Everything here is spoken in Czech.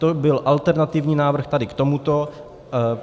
To byl alternativní návrh tady k tomuto.